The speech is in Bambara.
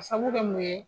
A sabu bɛ mun ye